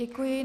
Děkuji.